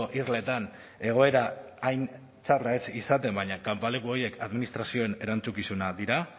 irletan egoera hain txarrak ez izaten baina kanpaleku horiek administrazioen erantzukizunak dira